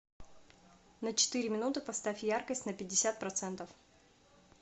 на четыре минуты поставь яркость на пятьдесят процентов